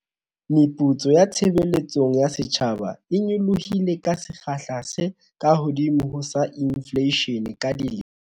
Meputso ya tshebeletsong ya setjhaba e nyolohile ka sekgahla se kahodimo ho sa infleishene ka dilemo